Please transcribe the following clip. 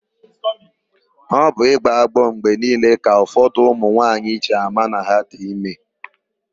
Ọ bụ ịgbọ agbọ mgbe niile ka ụfọdụ ụmụnwaanyị ji ama na ha dị ime.